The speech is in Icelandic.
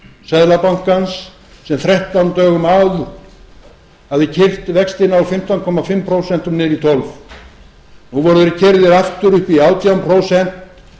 seðlabankans sem þrettán dögum áður hafði keyrt vextina úr fimmtán og hálft prósent niður í tólf nú voru þeir keyrðir aftur upp í átján prósent